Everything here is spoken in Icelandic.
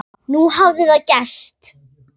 Nú hafði það gerst.